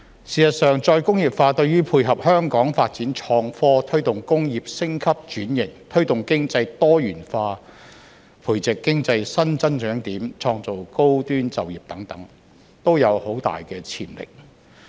事實上，再工業化對於配合香港發展創科、推動工業升級轉型、推動經濟多元化、培植經濟新增長點、創造高端就業等，都有很大潛力。